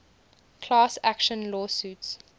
class action lawsuits